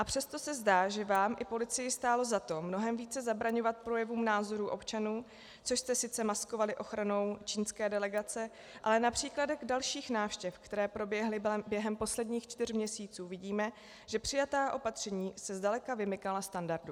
A přesto se zdá, že vám i policii stálo za to mnohem více zabraňovat projevům názorů občanů, což jste sice maskovali ochranou čínské delegace, ale například u dalších návštěv, které proběhly během posledních čtyř měsíců, vidíme, že přijatá opatření se zdaleka vymykala standardu.